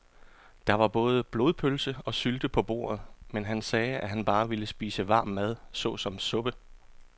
Der var både blodpølse og sylte på bordet, men han sagde, at han bare ville spise varm mad såsom suppe.